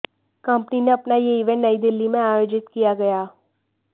company ने अपना यह इवेंट नई दिल्ली में आयोजित किया गया